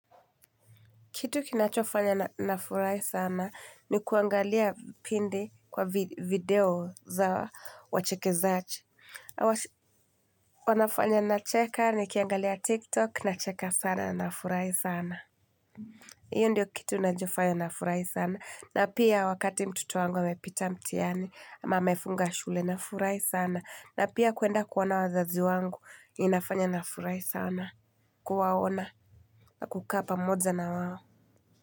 Kitu kinachofanya nafurahi sana ni kuangalia pindi kwa video za wachekezaji. Wanafanya nacheka nikiangalia tiktok nacheka sana na nafurahi sana. Iyo ndio kitu inachofanya nafurahi sana. Na pia wakati mtoto wangu amepita mtihani amefunga shule nafurahi sana. Na pia kuenda kuona wazazi wangu inafanya nafurahi sana. Kuwaona na kukaa pamoja na wao.